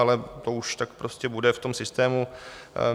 Ale to už tak prostě bude v tom systému.